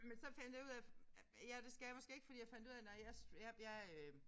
Men så fandt jeg ud af ja det skal jeg måske ikke fordi jeg fandt ud af nej jeg jeg jeg øh